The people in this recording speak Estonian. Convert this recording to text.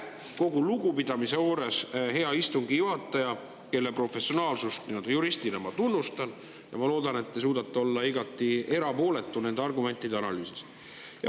Kogu lugupidamise juures, hea istungi juhataja, kelle professionaalsust juristina ma tunnustan, ma loodan, et te suudate olla igati erapooletu nende argumentide analüüsis.